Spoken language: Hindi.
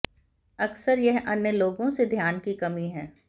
अक्सर यह अन्य लोगों से ध्यान की कमी है